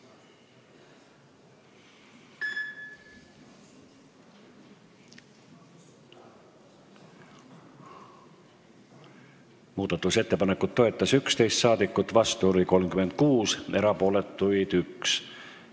Hääletustulemused Muudatusettepanekut toetas 11 ja vastu oli 36 rahvasaadikut, erapooletuid oli 1.